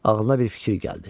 Ağlına bir fikir gəldi.